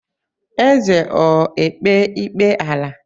Eze ọ ekpe ikpe ala?